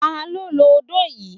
Ta ló ló odó yìí?